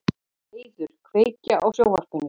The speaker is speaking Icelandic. Heiður, kveiktu á sjónvarpinu.